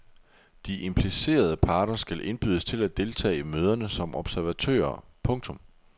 De implicerede parter skal indbydes til at deltage i møderne som observatører. punktum